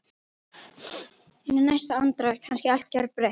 En í næstu andrá er kannski allt gjörbreytt.